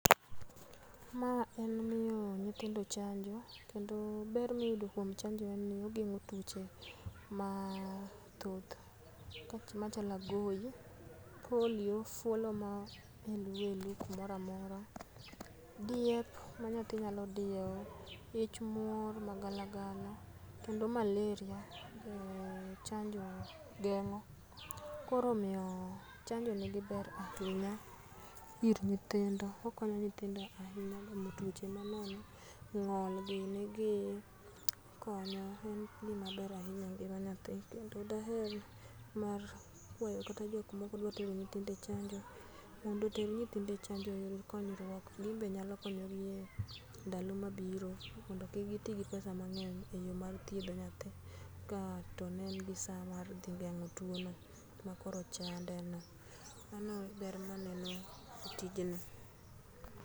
Ma en miyo nyithindo chanjo kendo ber ma iyudo kuon chanjo en ni ogeng'o tuoche mathoth, machalo agoi, polio, fwolo ma helu helu kumoro amora, diep ma nyathi nyalo dieo, ich muo magalagala, kendo malaria, o chanjo gen'go. Koro omiyo chanjo nigi ber ahinya ir nyithindo. Okonyo nyithindo kuom gamo tuoche manono, ng'ol gini gi okonyo. en gima ber ahinya engima nyathi. kendo daher mar kwayo kata jok ma ok dwa tero nyithindo e chanjo , mondo oter nyithindo e chanjo oyud konyruok gin be nyalo konyo gi endalo ma biro mondo kik gi ti gi pesa mang'eny e yo mar thiedho nyathi ka to ne en gi sa mar dhi geng'o tuo no makoro chande no. Mano e ber ma aneno e tijni.